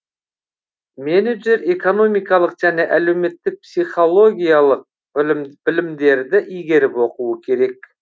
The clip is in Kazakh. менеджер экономикалық және әлеуметтік психологиялық білімдерді игеріп оқуы керек